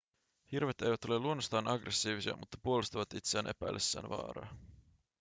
hirvet eivät ole luonnostaan aggressiivisia mutta puolustavat itseään epäillessään vaaraa